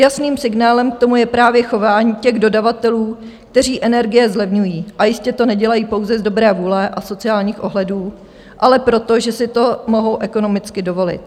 Jasným signálem k tomu je právě chování těch dodavatelů, kteří energie zlevňují, a jistě to nedělají pouze z dobré vůle a sociálních ohledů, ale proto, že si to mohou ekonomicky dovolit.